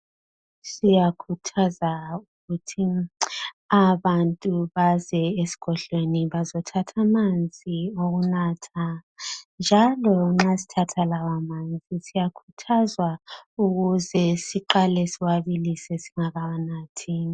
Siyakhuthaza ukuthi abantu baze esigodlweni bazothatha amanzi okunatha njalo nxa sithatha lawa manzi siyakhuthazwa ukuthi siqale siwabilise singakawanathi.